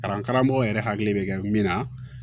Kalan karamɔgɔw yɛrɛ hakili bɛ kɛ min na